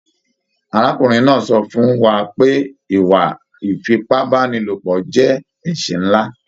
Arákùnrin náà sọ fún wà pé ìwà ifipabanilopọ jẹ ẹsẹ nlá.